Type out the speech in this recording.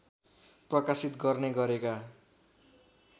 प्रकाशित गर्ने गरेका